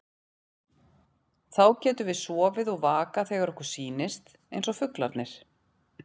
Þá getum við sofið og vakað þegar okkur sýnist, eins og fuglarnir.